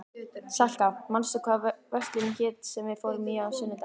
Salka, manstu hvað verslunin hét sem við fórum í á sunnudaginn?